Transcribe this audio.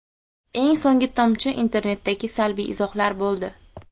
Eng so‘nggi tomchi internetdagi salbiy izohlar bo‘ldi.